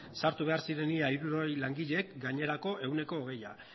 sartu behar ziren ia hirurogei langileek gainerako ehuneko hogeia